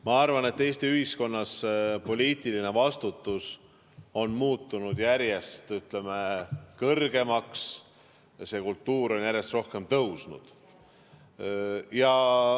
Ma arvan, et Eesti ühiskonnas on poliitiline vastutus muutunud järjest, ütleme, kõrgemaks ja see kultuur on järjest rohkem tõusnud.